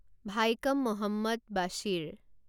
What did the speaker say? Vaikom Muhammad Basheer